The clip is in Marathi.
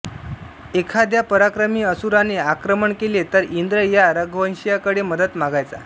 एखाद्या पराक्रमी असुराने आक्रमण केले तर इंद्र या रघुवंशीयांकडे मदत मागायचा